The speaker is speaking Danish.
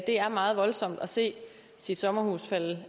er meget voldsomt at se sit sommerhus falde